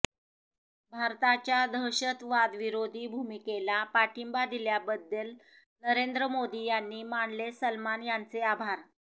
भारताच्या दहशतवादविरोधी भूमिकेला पाठिंबा दिल्याबद्दल नरेंद्र मोदी यांनी मानले सलमान यांचे आभार